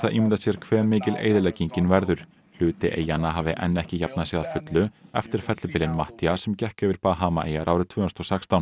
ímynda sér hve mikil eyðileggingin verður hluti eyjanna hafi enn ekki jafnað sig að fullu eftir fellibylinn Matthías sem gekk yfir Bahamaeyjar árið tvö þúsund og sextán